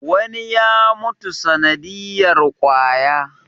wani ya mutu sanadiyar kwaya